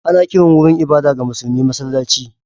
Ana kiran wurin ibada ga musulmi masallaci.